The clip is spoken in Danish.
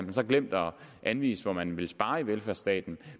har så glemt at anvise hvor man vil spare i velfærdsstaten